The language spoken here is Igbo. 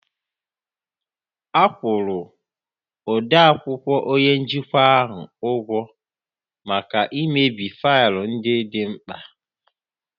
A kwụrụ odeakwụkwọ onye njikwa ahụ ụgwọ maka imebi faịlụ ndị dị mkpa